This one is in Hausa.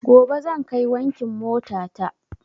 Gobe zan kai wankin mota ta